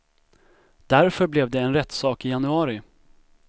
Därför blev det en rättssak i januari.